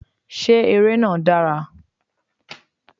Ṣé ère náà dára?